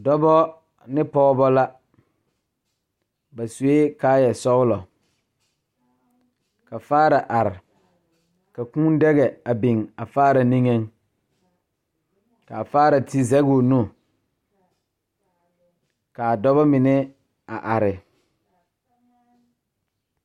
Die poɔ la ka dokogro biŋ ka tabol biŋ kaa dankyime e peɛle a dokogro e tampɛloŋ.